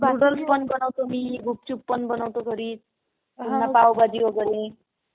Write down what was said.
Noodles पण बनवतो, गुपचूप पण बनवतो घरी. पुन्हा पाव भाजी वैगेरे.